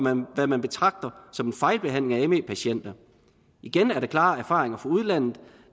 hvad man betragter som en fejlbehandling af me patienter igen er der klare erfaringer fra udlandet